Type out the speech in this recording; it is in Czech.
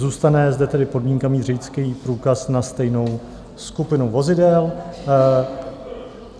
Zůstane zde tedy podmínka mít řidičský průkaz na stejnou skupinu vozidel.